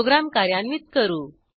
program कार्यान्वित करू